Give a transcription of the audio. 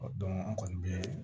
an kɔni bɛ